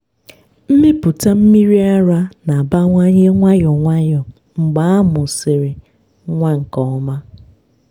mmepụta mmiri ara na-abawanye nwayọọ nwayọọ mgbe a a mụsịrị nwa nke ọma.